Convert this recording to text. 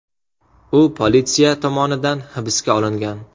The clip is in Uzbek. U politsiya tomonidan hibsga olingan.